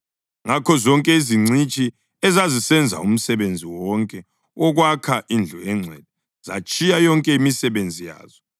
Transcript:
Ngakho zonke izingcitshi ezazisenza umsebenzi wonke wokwakha indlu engcwele zatshiya yonke imisebenzi yazo